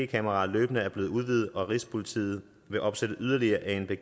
kameraer løbende er blevet udvidet og at rigspolitiet vil opsætte yderligere anpg